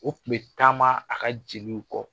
O kun bɛ taama a ka jeliw kɔ.